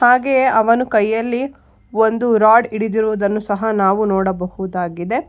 ಹಾಗೆಯೆ ಅವನು ಕೈಯಲ್ಲಿ ಒಂದು ರಾಡ್ ಹಿಡಿದಿರುವುದನ್ನು ಸಹ ನಾವು ನೋಡಬಹುದಾಗಿದೆ.